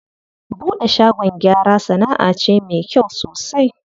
Buɗe shagon gyara sanaʼa ce me kyau sosai.